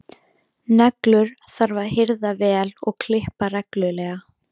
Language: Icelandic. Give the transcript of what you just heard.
Neglur þarf að hirða vel og klippa reglulega.